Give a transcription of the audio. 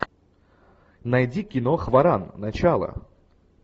найди кино хваран начало